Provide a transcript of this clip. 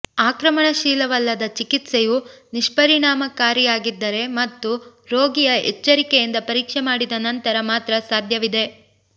ಆಕ್ರಮಣಶೀಲವಲ್ಲದ ಚಿಕಿತ್ಸೆಯು ನಿಷ್ಪರಿಣಾಮಕಾರಿಯಾಗಿದ್ದರೆ ಮತ್ತು ರೋಗಿಯ ಎಚ್ಚರಿಕೆಯಿಂದ ಪರೀಕ್ಷೆ ಮಾಡಿದ ನಂತರ ಮಾತ್ರ ಸಾಧ್ಯವಿದೆ